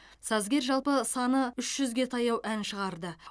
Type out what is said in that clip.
сазгер жалпы саны үш жүзге таяу ән шығарды